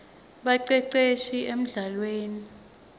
baceceshi emldlalweni